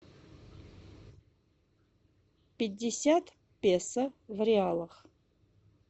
пятьдесят песо в реалах